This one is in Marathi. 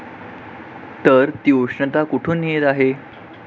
तर, ती उष्णता कुठून येत आहे?